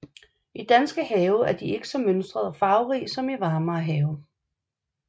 I danske have er de ikke så mønstrede og farverige som i varmere have